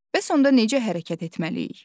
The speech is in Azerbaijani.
Bəs onda necə hərəkət etməliyik?